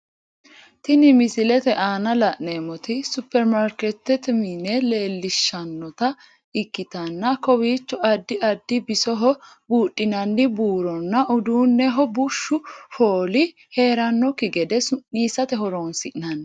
Tinni misilete aanna la'neemoti superimaarikeetete mine leelishanotta ikitanna kowiicho addi addi bisoho buudhinnanni buuronna uduuneho bushu fooli heeranoki gede su'niisate horoonsi'nanni.